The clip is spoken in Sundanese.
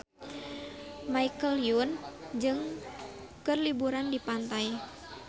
Michelle Yeoh keur liburan di pantai